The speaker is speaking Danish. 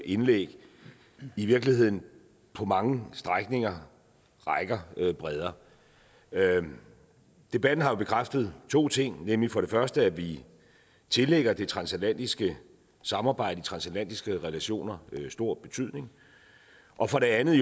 indlæg i virkeligheden på mange strækninger rækker bredere debatten debatten har jo bekræftet to ting nemlig for det første at vi tillægger det transatlantiske samarbejde de transatlantiske relationer stor betydning og for det andet